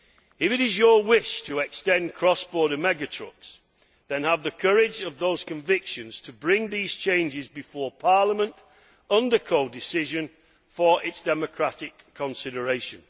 If it is your wish to extend cross border mega trucks then have the courage of those convictions to bring these changes before Parliament, under codecision, for its democratic consideration.